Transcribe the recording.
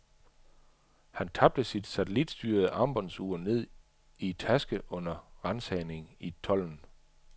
Han tabte sit satellitstyrede armbåndsur ned i taske under ransagning i tolden.